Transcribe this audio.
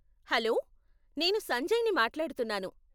Hello, నేను సంజయ్ ని మాట్లాడుతున్నాను.